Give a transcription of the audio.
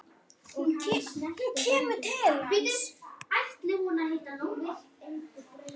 Hún kemur til hans.